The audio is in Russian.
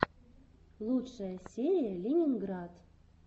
лучшая серия ленинград